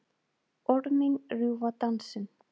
Orð mín rjúfa dansinn.